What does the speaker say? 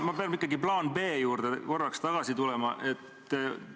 Ma pean ikkagi korraks tagasi tulema plaani B juurde.